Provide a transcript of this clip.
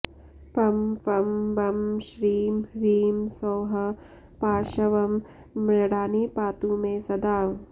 पं फं बं श्रीं ह्रीं सौः पार्श्वं मृडानी पातु मे सदा